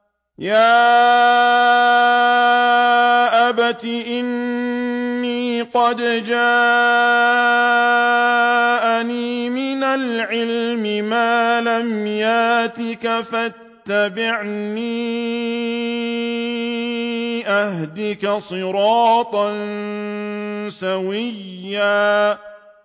يَا أَبَتِ إِنِّي قَدْ جَاءَنِي مِنَ الْعِلْمِ مَا لَمْ يَأْتِكَ فَاتَّبِعْنِي أَهْدِكَ صِرَاطًا سَوِيًّا